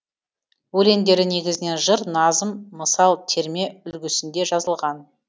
өлеңдері негізінен жыр назым мысал терме үлгісінде жазылған